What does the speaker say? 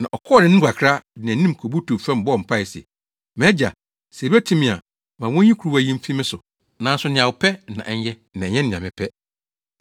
Na ɔkɔɔ nʼanim kakra, de nʼanim kobutuw fam bɔɔ mpae se, “MʼAgya, sɛ ebetumi a, ma wonyi kuruwa yi mfi me so. Nanso nea wopɛ na ɛnyɛ na ɛnyɛ nea mepɛ.”